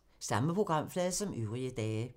Samme programflade som øvrige dage